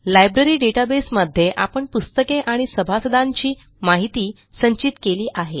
library database मध्ये आपण पुस्तके आणि सभासदांची माहिती संचित केली आहे